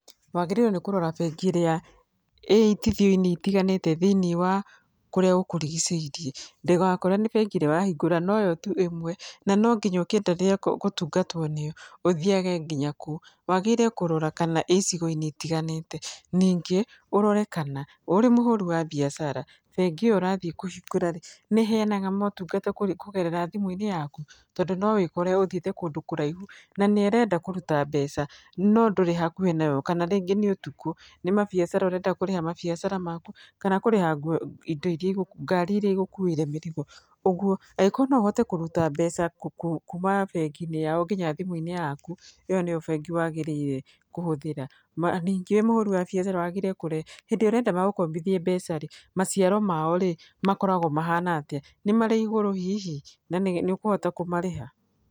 Wagĩrĩirwo nĩ kũrora bengi ĩrĩa ĩitithio-inĩ ĩtiganĩte thĩiniĩ wa kũrĩa gũkũrigicĩirie, ndũgakore nĩ bengi ĩrĩa ũrahingũra noyo tu ĩmwe na nonginya ũkĩendelee gũtungatwo nĩyo, ũthiyage nginya kuo. Wagĩrĩire kũrora kana ĩ icigo-inĩ ĩtiganĩte, ningĩ ũrore kana ũrĩ mũhũri wa biacara bengi ĩyo ũrathĩĩ kũhingũra rĩ nĩ ĩheyanaga mũtungata kũgerera thimũ-inĩ yaku? Tondũ no wĩkore ũthiĩte kũndũ kũraihu na nĩ ũrenda kũruta mbeca no ndũrĩ hakuhĩ nayo kana rĩngĩ nĩ ũtukũ nĩ mabiacara ũrenda kũrĩha mabiacara maku kana kũrĩa ngari ĩria ĩgũkuwĩire mĩrigo. Ũguo angĩkorwo no ũhote kũruta mbeca kuma bengi-inĩ yao nginya thimũ-inĩ yaku ĩyo nĩyo bengi wagĩrĩirwo kũhũthĩra. Ningĩ wĩ mũhũri wa biacara wagĩrĩirwo kũrora hĩndĩ ĩrĩa ũrenda magũkombithie mbeca rĩ maciaro mao rĩ makoragwo mahana arĩa, nĩ marĩ igũrũ hihi? Na nĩ ũkũhota kũmarĩha?